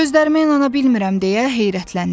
Gözlərimə inana bilmirəm deyə heyrətləndi.